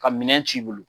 Ka minɛn c'i bolo